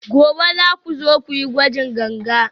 gobe za ku zo ku yi gwajin ganga?